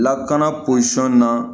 Lakana posɔn na